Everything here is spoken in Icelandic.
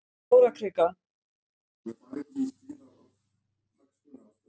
Stórakrika